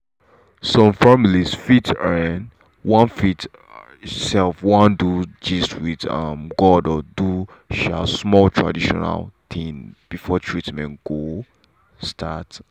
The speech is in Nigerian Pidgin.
some family fit um wan fit um wan gist with um god or do um small traditional thing before treatment go start.